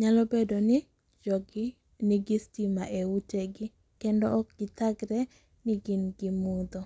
nyalo bedoni jogi nigi stima e ute gi kendo okgithagre ni gin gi mutho.